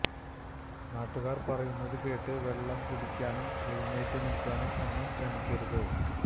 നാട്ടുകാർ പറയുന്നത് കേട്ട് വെള്ളം കുടിക്കാനും എഴുന്നേറ്റു നിൽക്കാനും ഒന്നും ശ്രമിക്കരുത്